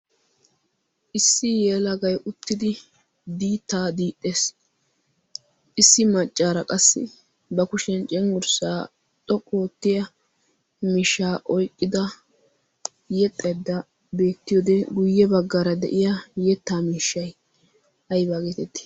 issi yeelagai uttidi diittaa diixxees issi maccaara qassi ba kushiyan cinggurssaa xoqqu oottiya mishaa oiqqida yexxedda beetti ode guyye baggaara de'iya yettaa miishshai aybaa geetetti?